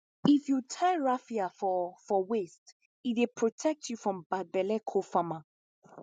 if you tie raffia for for waist e dey protect you from bad belle cofarmer